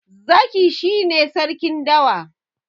Zaki shi ne Sarkin dawa.